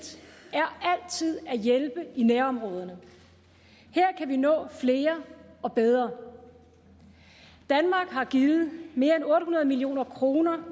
er altid at hjælpe i nærområderne her kan vi nå flere og bedre danmark har givet mere end otte hundrede million kroner